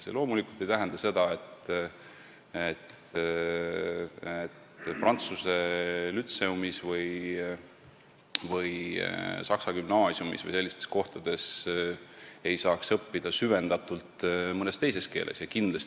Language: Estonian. See loomulikult ei tähenda seda, et prantsuse lütseumis, saksa gümnaasiumis või muudes sellistes kohtades ei saaks süvendatult mõnes teises keeles õppida.